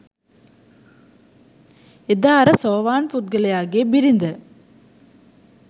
එදා අර සෝවාන් පුද්ගලයාගේ බිරිඳ